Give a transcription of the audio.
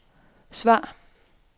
svar